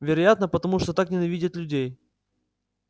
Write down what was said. вероятно потому что так ненавидит людей